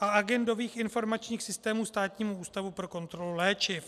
a agendových informačních systémů Státnímu ústavu pro kontrolu léčiv.